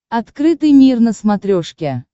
открытый мир на смотрешке